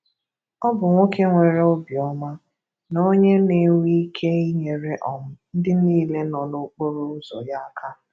Ọ bụ nwoke nwere obi ọma, na ọnye na-enwe ike inyere um ndị niile nọ n'okporo ụzọ ya aka.